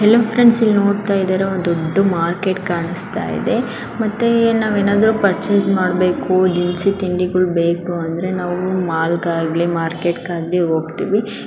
Hello friends ನೀವು ಇಲ್ಲಿ ನೋಡತಾಯಿದ್ದೀರಾ ಒಂದು ದೊಡ್ಡ ಕಾಣಸ್ತಾಇದೆ ಮತ್ತೆ ನಾವೆಂದರು ತಗೋಬೇಕು ಅಂದರೆ ದಿನಸಿ ತಿಂಡಿ ಗಳು ಬೇಕು ಅಂದ್ರೆ ನಾವು ಮಾರ್ಕೆಟ್ ಗೆ ಹೋಗ್ತೀವಿ.